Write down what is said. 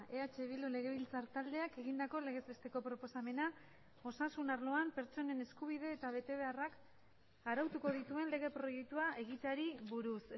eh bildu legebiltzar taldeak egindako legez besteko proposamena osasun arloan pertsonen eskubide eta betebeharrak arautuko dituen lege proiektua egiteari buruz